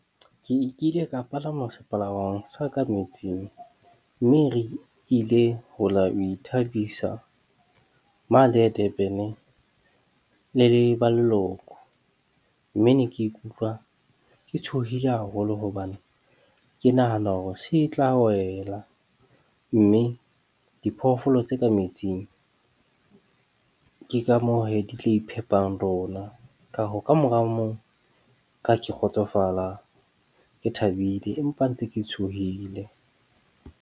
Ke ile ka palama sepalangwang sa ka metsing. Mme re ile ho lo ithabisa mane Durban le le baleloko. Mme ne ke ikutlwa ke tshohile haholo hobane ke nahana hore se tla wela. Mme diphoofolo tse ka metsing ke ka moo he di tla iphepang rona. Ka hoo ka mora o mong ke ha ke kgotsofala, ke thabile, empa ntse ke tshohile.